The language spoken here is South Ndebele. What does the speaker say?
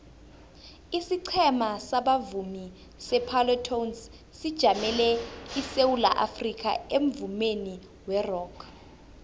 isiqhema sabavumi separlatones sijamele isewula afrikha emvumeni werock